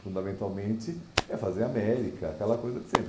Fundamentalmente, é fazer América, aquela coisa de sempre.